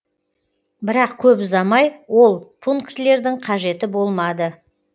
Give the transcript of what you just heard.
бірақ көп ұзамай ол пунктілердің қажеті болмады